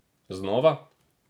Znova?